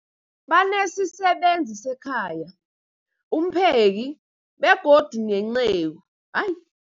Banesisebenzi sekhaya, umpheki, begodu nenceku. Ai.